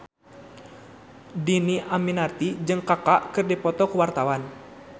Dhini Aminarti jeung Kaka keur dipoto ku wartawan